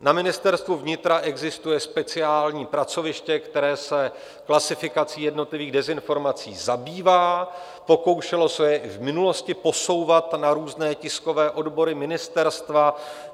Na Ministerstvu vnitra existuje speciální pracoviště, které se klasifikací jednotlivých dezinformací zabývá, pokoušelo se je i v minulosti posouvat na různé tiskové odbory ministerstva.